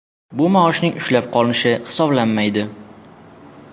Bu maoshning ushlab qolinishi hisoblanmaydi.